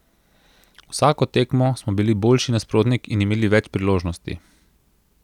Vsako tekmo smo bili boljši nasprotnik in imeli več priložnosti.